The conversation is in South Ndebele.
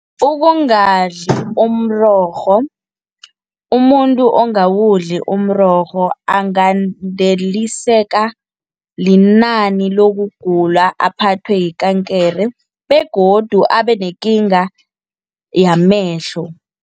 Ukungadli umrorho, umuntu ongawudli umrorho, linani lokugula aphathwe yikankere begodu abanekinga yamehlo.